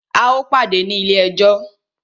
A o pàdé ní ilé ẹjọ́!